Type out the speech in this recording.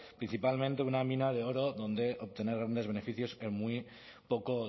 principalmente una mina de oro donde obtener grandes beneficios en muy poco